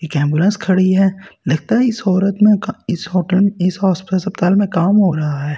एक एंबुलेंस खड़ी है लगता है इस औरत में का इस होटल इस हॉस अस्पताल में काम हो रहा है।